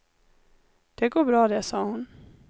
Det går bra det, sa hon.